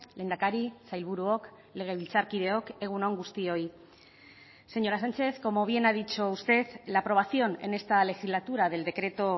lehendakari sailburuok legebiltzarkideok egun on guztioi señora sánchez como bien ha dicho usted la aprobación en esta legislatura del decreto